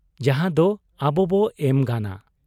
ᱡᱟᱦᱟᱸᱫᱚ ᱟᱵᱚᱵᱚ ᱮᱢ ᱜᱟᱱᱟ ᱾